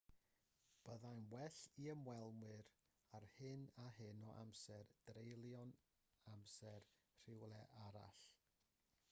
byddai'n well i ymwelwyr â hyn a hyn o amser dreulio'u hamser rywle arall